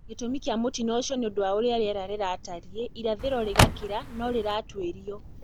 Gĩtũmi kia mũtino ũcio nĩ ũndũ wa ũrĩa rĩera rĩatariĩ irathĩro riĩ Gakĩra no rĩratuĩrio